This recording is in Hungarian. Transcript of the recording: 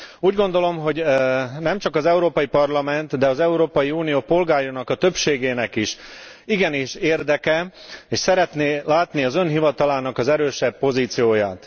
Úgy gondolom, hogy nemcsak az Európai Parlament, de az Európai Unió polgárai többségének is igenis érdeke, és szeretné látni az Ön hivatalának az erősebb pozícióját.